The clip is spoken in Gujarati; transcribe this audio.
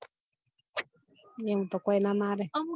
એમ તો કોઈ ના મારે